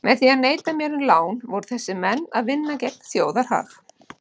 Með því að neita mér um lán voru þessir menn að vinna gegn þjóðarhag.